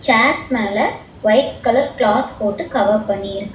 chairs மேல white colour cloth போட்டு cover பண்ணி இருக்கா--